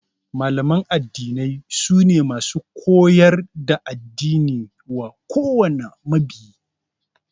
Malaman addini sune masu koyar da addini wa kowane mabiyi